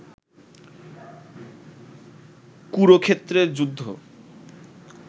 কুরুক্ষেত্রের যুদ্ধ